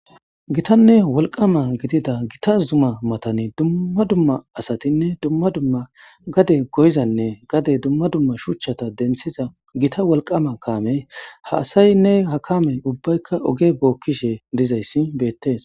Giitanee woliqqama gidida zuma matan duma duma asatinee duma duma gade goyizanne gade duma duma shuchata denithiza giita woliqqama kamey ha asayine ahakamey ubayika oge bokishe dizays betes